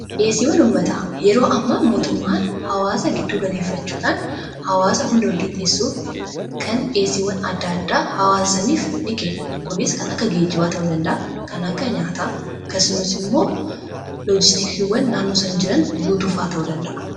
dhiyeessiiwwan ummataa yeroo amma mootummaan hawaasa gidduu galeeffachuudhaan hawaasa hunda walqixeessuuf kan dhiyeessiiwwan adda addaa hawaasa saniif ni kenna. kunis kan akka geejibaa ta'uu danda'a; kan akka nyaataa akasumas immoo loojistikiiwwan naannoo san jiran guutuufaa ta'uu danda'a.